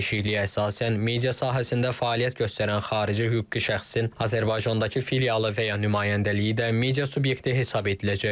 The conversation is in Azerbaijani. Dəyişikliyə əsasən media sahəsində fəaliyyət göstərən xarici hüquqi şəxsin Azərbaycandakı filialı və ya nümayəndəliyi də media subyekti hesab ediləcək.